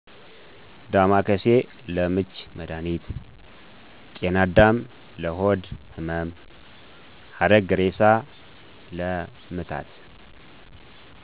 ዳማከሴ:- ለምች መድሀኒት ጤናዳም:- ለሆድ ህመም ሀረግእሬሳ:- ለምታት